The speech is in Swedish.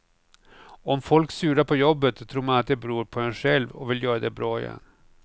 Om folk surar på jobbet tror man att det beror på en själv och vill göra det bra igen.